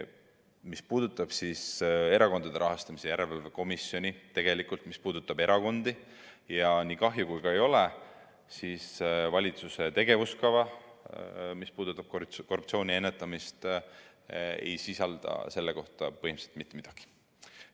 Mis puudutab Erakondade Rahastamise Järelevalve Komisjoni ja erakondi, siis nii kahju, kui see ka ei ole, valitsuse tegevuskava, mis käsitleb korruptsiooni ennetamist, ei sisalda selle kohta mitte midagi.